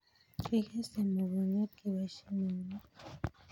kikese mugongiot keboishe eunek